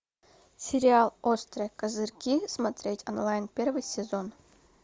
сериал острые козырьки смотреть онлайн первый сезон